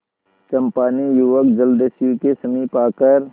चंपा ने युवक जलदस्यु के समीप आकर